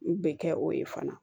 N bɛ kɛ o ye fana